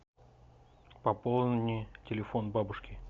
пополни телефон бабушки